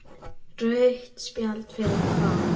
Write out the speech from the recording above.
Rautt spjald fyrir hvað?